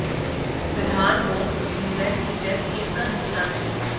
फिलहाल Woakes England की test team का हिस्सा हैं